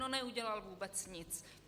No neudělal vůbec nic.